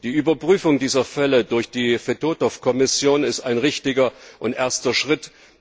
Die Überprüfung dieser Fälle durch die Fedotow Kommission ist ein richtiger und erster Schritt.